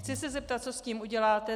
Chci se zeptat, co s tím uděláte.